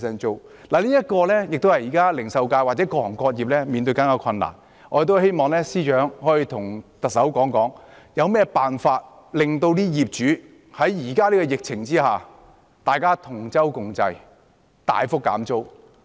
這也是零售界或各行各業正在面對的困難，我們希望司長可以與特首商討有何辦法令業主在現時的疫情下願意同舟共濟，大幅減租。